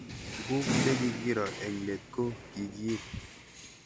Tuguk che kikiro eng'let ko kikiip